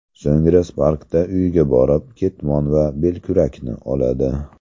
So‘ngra Spark’da uyiga borib, ketmon va belkurakni oladi.